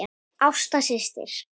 Ásta systir.